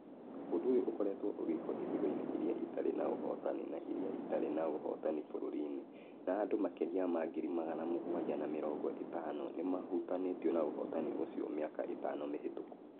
Ũndũ ũyũ ũkoretwo ũgĩkwo icigo-inĩ iria itarĩ na ũhotani na iria itarĩ na ũhotani bũrũri-inĩ, na andũ makĩria ma ngiri magana mũgwanja na mĩrongo ĩtano nĩ mahutanĩtio na ũhotani ũcio mĩaka ĩtano mĩhĩtũku.